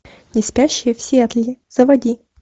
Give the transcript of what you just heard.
не спящие в сиэтле заводи